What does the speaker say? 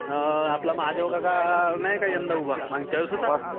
अं आपला महादेव काका नाही का यंदा उभा? मागच्या वेळेस होता उभा.